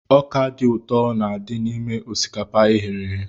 Ọkà dị ụtọ n'adi n'ime osikapa eghere eghe.